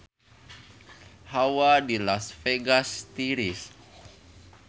Hawa di Las Vegas tiris